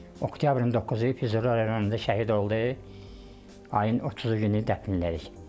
Oktyabrın 9-u Füzuli rayonunda şəhid oldu, ayın 30-u günü dəfn elədik.